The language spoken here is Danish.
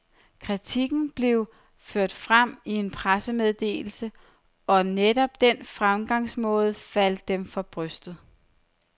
Kritikken blev ført frem i en pressemeddelse, og netop den fremgangsmåde faldt dem for brystet.